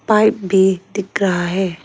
Pipe भी दिख रहा है।